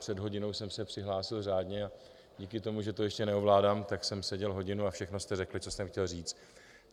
Před hodinou jsem se přihlásil řádně a díky tomu, že to ještě neovládám, tak jsem seděl hodinu a všechno jste řekli, co jsem chtěl říct.